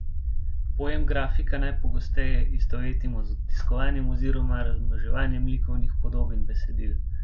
Pojem grafika najpogosteje istovetimo z odtiskovanjem oziroma razmnoževanjem likovnih podob in besedil.